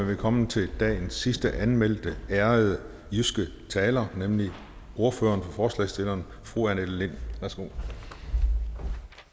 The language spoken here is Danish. vi kommet til dagens sidst anmeldte ærede jyske taler nemlig ordføreren for forslagsstillerne fru annette lind værsgo